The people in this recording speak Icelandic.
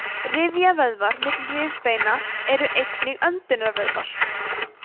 rifjavöðvar milli rifbeina eru einnig öndunarvöðvar